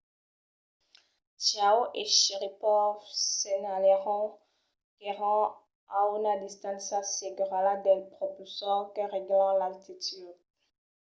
chiao e sharipov senhalèron qu'èran a una distància segura dels propulsors que règlan l'altitud